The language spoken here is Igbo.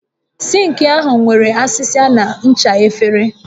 Sink ahụ nwere asịsa na ncha efere